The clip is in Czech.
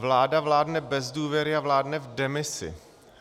Vláda vládne bez důvěry a vládne v demisi.